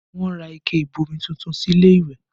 Wọn ra ike ìbomi tuntun sí ilé ìwẹ̀